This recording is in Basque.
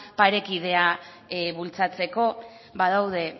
parekidea bultzatzeko badaude